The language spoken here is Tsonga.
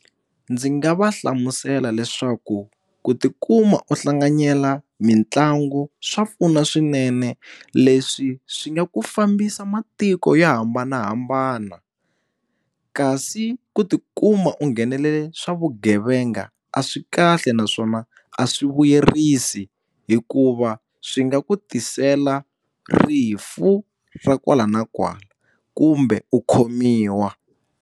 Ndzi nga va hlamusela leswaku ku tikuma u hlanganyela mitlangu swa pfuna swinene leswi swi nga ku fambisa matiko yo hambanahambana kasi ku tikuma u nghenelela ka swa vugevenga a swi kahle naswona a swi vuyerisi hikuva swi nga ku tisela rifu ra kwala na kwala kumbe u khomiwa.